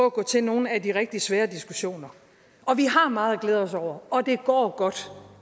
at gå til nogle af de rigtig svære diskussioner og vi har meget at glæde os over og det går godt